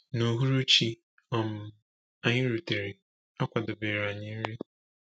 N’uhuruchi um anyị rutere, a kwadobere anyị nri.